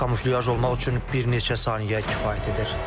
Kamuflaj olmaq üçün bir neçə saniyə kifayət edir.